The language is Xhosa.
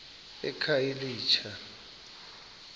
ekhayelitsha